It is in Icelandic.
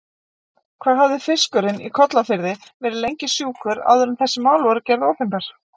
Hvað hafði fiskurinn í Kollafirði verið lengi sjúkur áður en þessi mál voru gerð opinber?